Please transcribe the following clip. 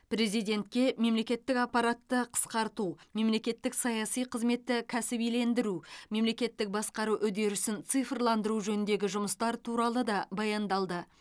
президентке мемлекеттік аппаратты қысқарту мемлекеттік саяси қызметті кәсібилендіру мемлекеттік басқару үдерісін цифрландыру жөніндегі жұмыстар туралы да баяндалды